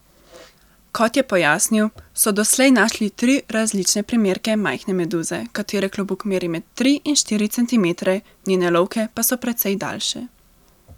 Kot je pojasnil, so doslej našli tri različne primerke majhne meduze, katere klobuk meri med tri in štiri centimetre, njene lovke pa so precej daljše.